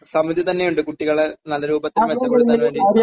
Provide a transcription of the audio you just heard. സമിതി തന്നെയുണ്ട് കുട്ടികളെ നല്ല രൂപത്തിൽ മെച്ചപ്പെടുത്താൻ വേണ്ടി.